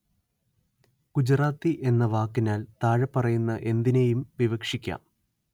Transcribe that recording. ഗുജറാത്തി എന്ന വാക്കിനാല്‍ താഴെപ്പറയുന്ന എന്തിനേയും വിവക്ഷിക്കാം